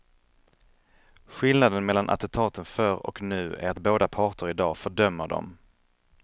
Skillnaden mellan attentaten förr och nu är att båda parter i dag fördömer dem.